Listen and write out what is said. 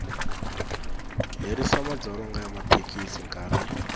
herisa madzolonga ya mathekisi nkarhi